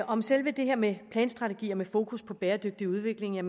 om selve det her med planstrategier med fokus på bæredygtig udvikling er